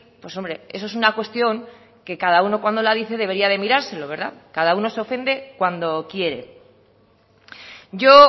pues hombre eso es una cuestión que cada uno cuando la dice debería de mirárselo cada uno se ofende cuando quiere yo